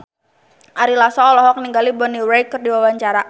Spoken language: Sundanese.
Ari Lasso olohok ningali Bonnie Wright keur diwawancara